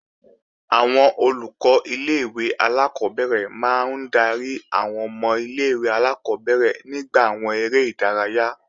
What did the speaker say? Àwọn Olùkọ́ ilé-ìwé alákọ́bẹ̀rẹ̀ máa ń darí àwọn ọmọ ilé-ìwé alákọ́bẹ̀rẹ̀ nígbà àwọn eré ìdárayá